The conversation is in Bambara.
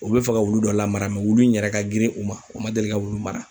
U be fɛ ka wulu dɔ lamara mɛ wulu in yɛrɛ ka girin u ma u ma deli ka wulu mara